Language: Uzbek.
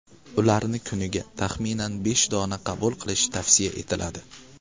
Ularni kuniga, taxminan, besh dona qabul qilish tavsiya etiladi.